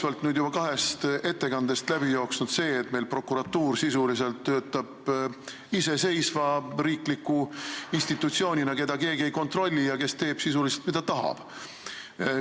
Meil on juba kahest ettekandest läbi jooksnud see, et prokuratuur töötab iseseisva riikliku institutsioonina, keda keegi ei kontrolli ja kes teeb sisuliselt, mida tahab.